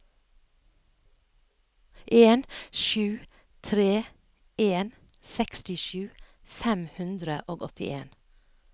en sju tre en sekstisju fem hundre og åttien